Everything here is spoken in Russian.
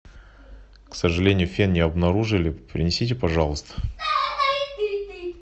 к сожалению фен не обнаружили принесите пожалуйста